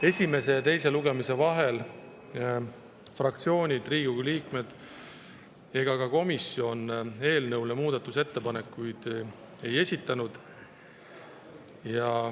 Esimese ja teise lugemise vahel fraktsioonid, Riigikogu liikmed ega ka komisjon eelnõu kohta muudatusettepanekuid ei esitanud.